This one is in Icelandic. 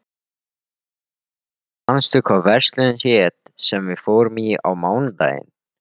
Míríel, manstu hvað verslunin hét sem við fórum í á mánudaginn?